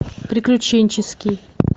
приключенческий